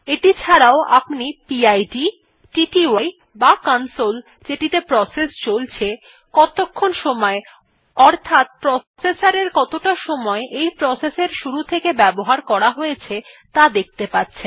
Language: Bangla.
এটি ছাড়াও আপনি পিড টিটিআই বা কনসোল যেটিতে প্রসেস চলছে কতক্ষণ সময় অর্থাৎ প্রসেসর কতটা সময় এই প্রসেস এর শুরু থেকে ব্যবহার করা হয়েছে ত়া দেখতে পাচ্ছেন